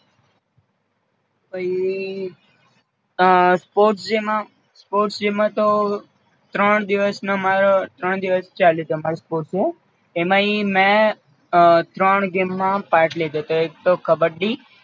પઈ અ sport day માં sport day માં તો ત્રણ દિવસ નો મારો ત્રણ દિવસ ચાલે છે અમારો sport day એમા ઈ મેં અ ત્રણ ગેમ માં પાર્ટ લીધો તો એક તો કબ્બડી